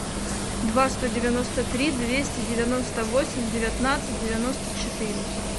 два сто девяносто три двести девяносто восемь девятнадцать девяносто четыре